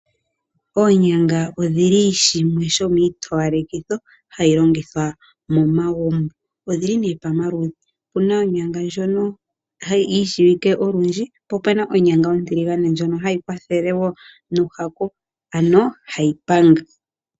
Oonyanga odhili shimwe sho miitowalekitho hayi longithwa momagumbo, odhili nee pamaludhi opuna onyanga ndjono yi shiwike olundji po opena onyanga ontiligane ndjono hayi kwathele woo nuuhaku ano hayi panga.